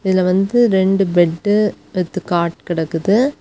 இதுல வந்து ரெண்டு பெட்டு வித் காட் கிடக்குது.